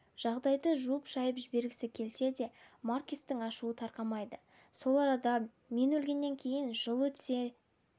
жағдайды жуып-шайып жібергісі келсе де маркестің ашуы тарқамайды сол арада мен өлгеннен кейін жыл өтсе